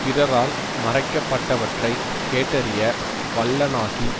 பிறரால் மறைக்கப்பட்டவற்றைக் கேட்டறிய வல்லனாகி